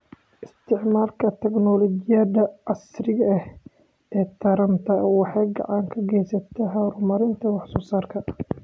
Isticmaalka tignoolajiyada casriga ah ee taranta waxay gacan ka geysataa horumarinta wax soo saarka.